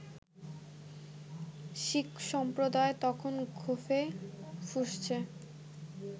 শিখ সম্প্রদায় তখন ক্ষোভে ফুঁসছে